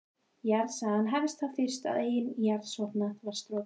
Jarðsagan hefst þá fyrst er jarðskorpan varð storkin.